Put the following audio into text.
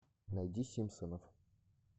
найди симпсонов